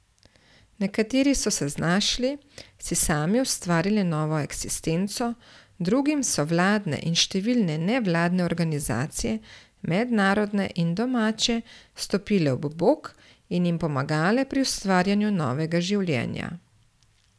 Nekateri so se znašli, si sami ustvarili novo eksistenco, drugim so vladne in številne nevladne organizacije, mednarodne in domače, stopile ob bok in jim pomagale pri ustvarjanju novega življenja.